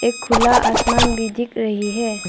एक खुला आसमान भी दिख रही है।